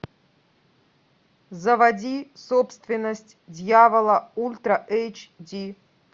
заводи собственность дьявола ультра эйч ди